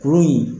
Kurun in